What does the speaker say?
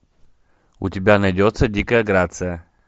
у тебя найдется дикая грация